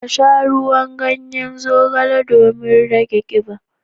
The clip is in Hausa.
Ka sha ruwan ganyen zogale domin rage kiba.